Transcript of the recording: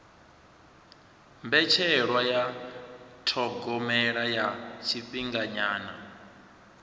mbetshelwa ya thogomelo ya tshifhinganyana